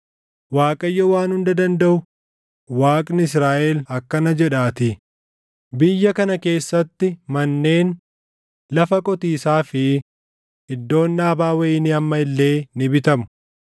Waaqayyo Waan Hunda Dandaʼu, Waaqni Israaʼel akkana jedhaatii; biyya kana keessatti manneen, lafa qotiisaa fi iddoon dhaabaa wayinii amma illee ni bitamu.’